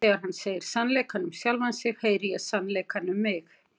Þegar hann segir sannleikann um sjálfan sig heyri ég sannleikann um mig.